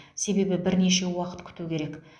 себебі бірнеше уақыт күту керек